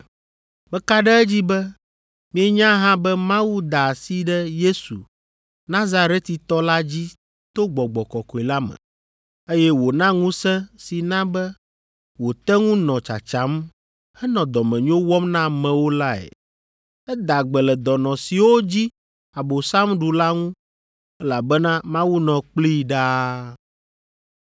Meka ɖe edzi be mienya hã be Mawu da asi ɖe Yesu, Nazaretitɔ la dzi to Gbɔgbɔ Kɔkɔe la me, eye wòna ŋusẽ si na be wòte ŋu nɔ tsatsam henɔ dɔmenyo wɔm na amewo lae. Eda gbe le dɔnɔ siwo dzi Abosam ɖu la ŋu elabena Mawu nɔ kplii ɖaa.”